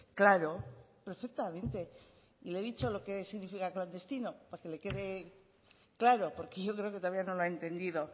claro perfectamente le he dicho lo que significa clandestino para que le quede claro porque yo creo que todavía no lo ha entendido